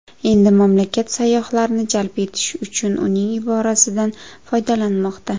Endi mamlakat sayyohlarni jalb etish uchun uning iborasidan foydalanmoqda.